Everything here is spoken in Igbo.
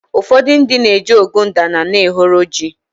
ụfọdụ ndị na-eji ogbuadana n'ehoro ji